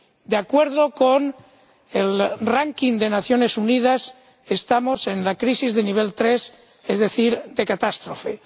De acuerdo con el ranking de Naciones Unidas, estamos en la crisis de nivel 3, es decir, de catástrofe.